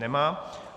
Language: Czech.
Nemají.